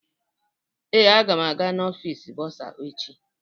Ee, agam aga n'ọfịs bọrzà echi.